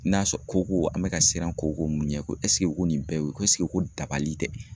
N'a sɔrɔ koko , an bɛ ka siran koko mun ɲɛ, ko ko nin bɛɛ ye ko ko dabali tɛ!